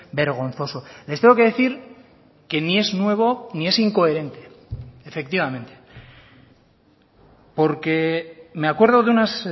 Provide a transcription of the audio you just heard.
vergonzoso les tengo que decir que ni es nuevo ni es incoherente efectivamente porque me acuerdo de unas